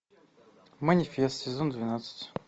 манифест сезон двенадцать